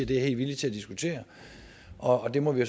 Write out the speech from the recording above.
det er jeg villig til at diskutere og det må vi